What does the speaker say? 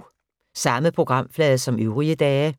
Samme programflade som øvrige dage